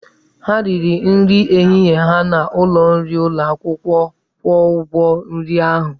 Ha riri nri ehihie ha n'ụlọ nri ụlọ akwụkwọ, kwụọ ụgwọ nri ahụ!